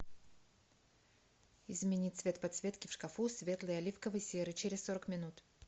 измени цвет подсветки в шкафу светлый оливковый серый через сорок минут